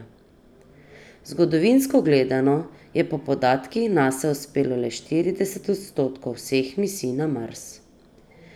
Zgodovinsko gledano, je po podatkih Nase uspelo le štirideset odstotkov vseh misij na Mars.